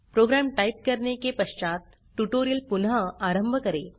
programme type करने के पश्चात ट्यूटोरियल पुनः आरंभ करें